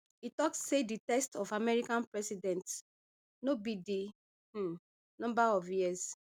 e tok say di test of american presidents no be di um number of years